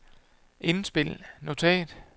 indspil notat